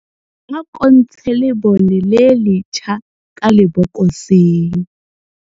ako ntshe lebone le lejha ka lebokoseng